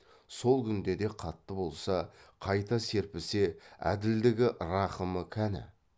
сол күнде де қатты болса қайта серпісе әділдігі рақымы кәні